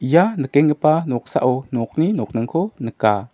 ia nikenggipa noksao nokni nokningko nika.